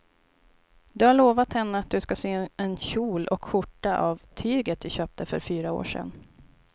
Du har lovat henne att du ska sy en kjol och skjorta av tyget du köpte för fyra år sedan.